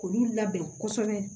K'olu labɛn kosɛbɛ